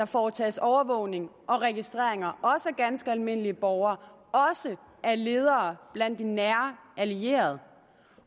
foretages overvågning og registreringer af ganske almindelige borgere og af ledere blandt de nære allierede